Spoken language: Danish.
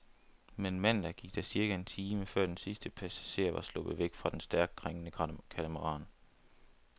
Men mandag gik der cirka en time, før den sidste passager var sluppet væk fra den stærkt krængende katamaran.